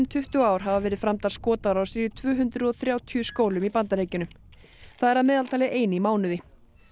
tuttugu ár hafa verið framdar skotárásir í tvö hundruð og þrjátíu skólum í Bandaríkjunum það er að meðaltali ein í mánuði